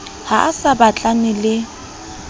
ha a sa batlane le